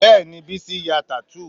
Bẹ́ẹ̀ni Bísí ya tattoo